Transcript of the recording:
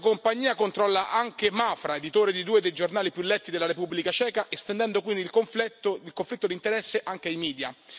La stessa compagnia controlla anche Mafra, editore di due dei giornali più letti della Repubblica ceca, estendendo quindi il conflitto di interesse anche ai media.